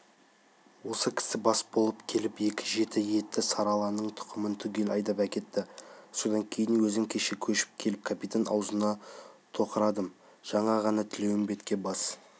осы кісі бас болып келіп екі жеті етті сары аланың тұқымын түгел айдап әкетті содан кейін өзім кеше көшіп келіп капитан аузына тоқырадым жаңа ғана тілеуімбетке бас